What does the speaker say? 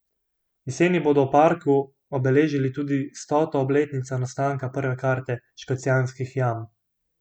Jeseni bodo v parku obeležili tudi stoto obletnico nastanka prve karte Škocjanskih jam.